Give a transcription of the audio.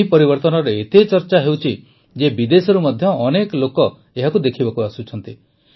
ଏହି ପରିବର୍ତନର ଏତେ ଚର୍ଚ୍ଚା ହେଉଛି ଯେ ବିଦେଶରୁ ମଧ୍ୟ ଅନେକ ଲୋକ ଏହାକୁ ଦେଖିବାକୁ ଆସୁଛନ୍ତି